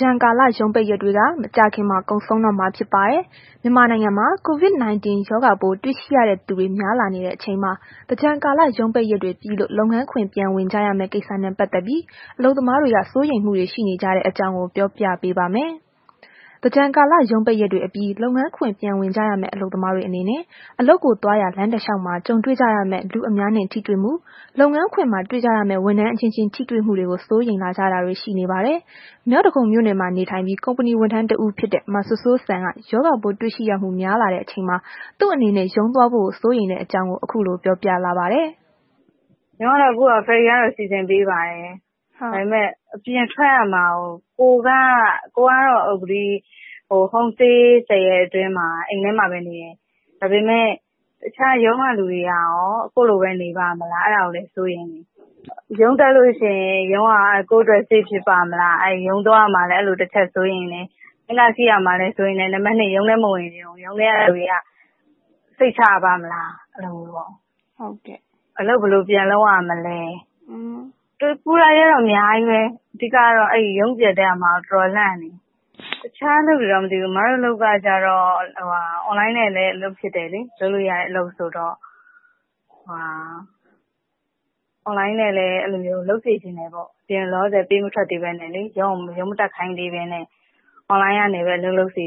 ကြန်ကာလ ရုံးပိတ်ရက်တွေက မကြာခင်မှာ ကုန်ဆုံးတော့မှာ ဖြစ်ပါတယ်။ မြန်မာနိုင်ငံမှာ COVID-19 ရောဂါပိုးတွေ့ရှိရတဲ့ သူတွေများလာနေတဲ့ အချိန်မှာ သင်္ကြန်ကာလ ရုံးပိတ်ရက်တွေပြီးလို့ လုပ်ငန်းခွင်ပြန်ဝင်ကြရမယ့် ကိစ္စနဲ့ ပတ်သက်ပြီး အလုပ်သမားတွေက စိုးရိမ်မှုတွေ ရှိနေကြတဲ့ အကြောင်းကို ဗွီအိုအေ မြန်မာပိုင်း သတင်းထောက် မအိမ့်သန္တာထွန်းက ပြောပြပေးပါမယ်။ သင်္ကြန်ကာလ ရုံးပိတ်ရက်တွေအပြီး လုပ်ငန်းခွင်ပြန်ဝင်ကြရမယ့် အလုပ်သမားတွေအနေနဲ့ အလုပ်ကိုသွားရာ လမ်းတစ်လျှောက်မှာ ကြုံတွေကြရမယ့် လူအများနဲ့ ထိတွေ့မှု၊ လုပ်ငန်းခွင်မှာ တွေ့ကြရမယ့် ဝန်ထမ်းအချင်းချင်း ထိတွေ့မှုတွေကို စိုးရိမ်လာကြတာတွေ ရှိနေပါတယ်။ မြောက်ဒဂုံမြို့နယ်မှာ နေထိုင်ပြီး ကုမ္ပဏီဝန်ထမ်း တစ်ဦးဖြစ်တဲ့ မစိုးစိုးစံက ရောဂါပိုးတွေ့ရှိရမှု များလာတဲ့ အချိန်မှာ သူ့အနေနဲ့ ရုံးသွားဖို့ကို စိုးရိမ်တဲ့ အကြောင်းကို ခုလို ပြောပြလာပါတယ်။ “ရုံးကတော့ အခု ferry ကတော့ စီစဉ်ပေးပါတယ်။ ကိုယ်ကတော့ အခု home stay ၁၀ ရက်အတွင်းမှာ ဘယ်မှ မသွားဘဲ အိမ်ထဲမှာပဲ နေတယ်။ ဒါပေမဲ့ တခြားရုံးက လူတွေကရော ကိုယ့်လိုပဲ နေပါ့မလား အဲ့ဒါကို စိတ်ပူတယ်။ ရုံးတက်လို့ ရှိရင် ရုံးက ကိုယ်အတွက် save ဖြစ်ပါ့မလား။ ရုံးသွားရမှာလည်း အဲ့လိုတစ်ချက် စိုးရိမ်တယ်။ ဘတ်စ်ကားစီးရမှာလဲ စိုးရိမ်တယ် နောက် ရုံးထဲ မဝင်ချင်ဘူး။ ရုံးထဲကလူတွေက စိတ်ချရပါ့မလား အဲ့လိုပေါ့။ အလုပ်ဘယ်လိုပြန်လုပ်ရမလဲ ပူတာတွေကတော့ အများကြီးပဲ အဓိကကတော့ ရုံးပြန်တက်ရမှာ ကို တော်တော်လန့်နေတယ်။ အခြားအလုပ်တော့ မသိဘူး၊ အမတို့အလုပ်ကျတော့ Online နဲ့လည်း အလုပ်ဖြစ်တယ်လေ online နဲ့ပဲ လုပ်စေချင်တယ်ပေါ့။ အပြင်ကို လောလောဆယ် ပေးမထွက်သေးဘဲနဲ့ပေါ့။ online နေပဲ လုပ်ဖို့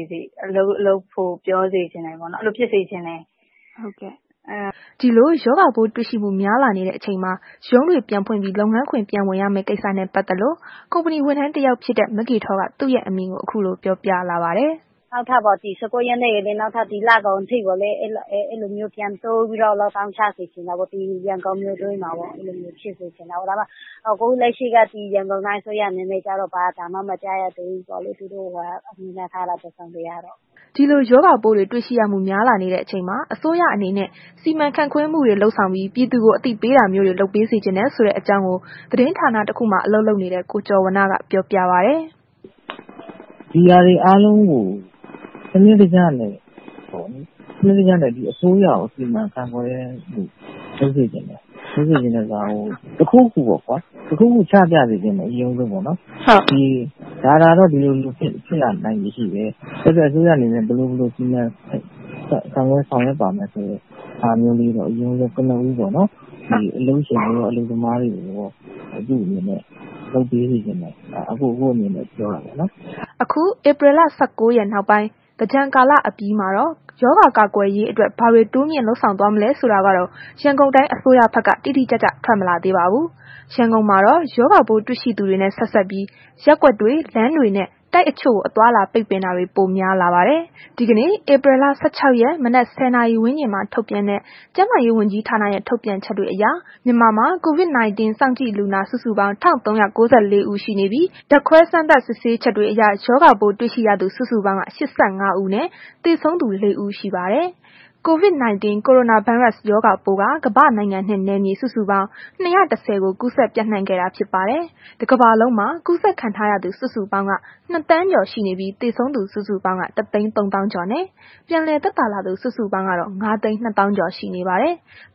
လုပ်ဖို့ ပြောစေချင်တယ် ရုံးမတက်ခိုင်းသေးဘဲနဲ့ ပေါ့၊ အဲ့လိုဖြစ်စေချင်တယ်။” ဒီလို ရောဂါပိုးတွေ့ရှိမှု များလာနေတဲ့ အချိန်မှာ ရုံးတွေ ပြန်ဖွင့်ပြီး လုပ်ငန်းခွင် ပြန်ဝင်ရမယ့် ကိစ္စနဲ့ ပတ်သက်လို့ ကုမ္ပဏီ ဝန်ထမ်းတစ်ယောက်ဖြစ်တဲ့ မဂေထောက သူ့ရဲ့ အမြင်ကို ခုလို ပြောပြလာပါတယ်။ “ဒီ ၁၉ ရက်ထိပြီးရင် နောက်ထပ် ဒီလကုန်အထိကိုလည်း အဲ့လိုမျိုး ပြန်တိုးပြီးတော့ lock down ချစေချင်တယ် ရန်ကုန်မြို့တွင်းမှာပေါ့။ ခုလက်ရှိက ဒီရန်ကုန်တိုင်းအစိုးရ အနေနဲ့ ဘာသံမှ မကြားရသေးဘူးဆိုတော့လည်း သူတို့ကိုစောင့်ကြည့် ရမှာပေါ့။” ဒီလို ရောဂါပိုးတွေရှိရမှုတွေ များလာနေတဲ့အချိန်မှာ အစိုးရအနေနဲ့ စီမံခန့်ခွဲမှုတွေ လုပ်ဆောင်ပြီး ပြည်သူကို အသိပေးတာမျိုးတွေ လုပ်ပေးစေချင်တယ်ဆိုတဲ့ အကြောင်းကို သတင်းဌာနတစ်ခုမှာ အလုပ်လုပ်တဲ့ ကိုကျော်ဝဏ္ဏက ပြောပါတယ်။ “ဒီဟာတွေအားလုံးကို စနစ်တကျနဲ့ အစိုးရက စီမံခန့်ခွဲတာမျိုးတွေ လုပ်စေချင်တယ်။ လုပ်စေချင်တယ်ဆိုတာက တစ်ခုခုပေါ့ကွာ တစ်ခုခု ချပြစေချင်တယ် အရင်ဦးဆုံးပေါ့နှော်။ ဒါကတော့ ဒီလို ဒီလိုဖြစ်လာနိုင်ချေရှိတယ်။ အစိုးရအနေနဲ့ ဘယ်လို ဘယ်လို စီမံဆောင်ရွက်ပါမယ်ဆိုတဲ့ ဟာမျိုးလေးတော့ ကနဦးပေါ့နော်။ အလုပ်ရှင်နဲ့ အလုပ်သမားတွေကိုတော့ လုပ်ပေးစေချင်တယ်။ ဒါက အကို့အမြင်နဲ့ ပြောတာပေါ့နော်။” အခု ဧပြီလ ၁၉ ရက် နောက်ပိုင်း သင်္ကြန်ကာလအပြီးမှာတော့ ရောဂါကာကွယ်ရေးအတွက် ဘာတွေ တိုးမြင့်လုပ်ဆောင်သွားမလဲဆိုတာကတော့ ရန်ကုန်တိုင်း အစိုးရဘက်က တိတိကျကျ ထွက်မလာသေးပါဘူး။ ရန်ကုန်မှာတော့ ရောဂါပိုးတွေ့ရှိသူတွေနဲ့ ဆက်စပ်ပြီး ရပ်ကွက်တွေ လမ်းတွေနှင့် တိုက်အချို့ကို အသွားအလာ ပိတ်ပင်တာတွေ ပိုများလာပါတယ်။ ဒီကနေ့ ဧပြီလ ၁၆ ရက် မနက် ၁၀ နာရီဝန်းကျင်မှာ ထုတ်ပြန်တဲ့ ကျန်းမာရေး ဝန်ကြီးဌာနရဲ့ ထုတ်ပြန်ချက်တွေအရ မြန်မာမှာ COVID-19 စောင့်ကြည့်လူနာ စုစုပေါင်း ၁,၃၉၄ ဦးရှိနေပြီး ဓာတ်ခွဲ စမ်းသပ် စစ်ဆေးချက်တွေအရ ရောဂါပိုး တွေ့ရှိရသူ စုစုပေါင်းက ၈၅ ဦး ရှိနေပြီး သေဆုံးသူ ၄ ဦး ရှိပါတယ်။ ကိုရိုနာဗိုင်းရပ်စ် COVID-19 ရောဂါပိုးက ကမ္ဘာနိုင်ငံနဲ့ နယ်မြေစုစုပေါင်း ၂၁၀ ကိုကူးစက်ပျံ့နှံ့ခဲ့တာဖြစ် ပါတယ်။ တစ်ကမ္ဘာလုံးမှာ ကူးစက်ခံထားရသူ စုစုပေါင်းက ၂,၀၀၀,၀၀၀ ကျော်ရှိနေပြီး သေဆုံးသူ စုစုပေါင်းက ၁၃၀,၀၀၀ ကျော် နှင့် ပြန်လည်သက်သာလာသူ စုစုပေါင်းကတော့ ၅၂၀,၀၀၀ ကျော် ရှိနေပါတယ်။